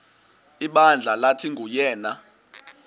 ibandla lathi nguyena